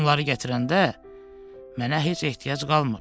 Sən onları gətirəndə mənə heç ehtiyac qalmır.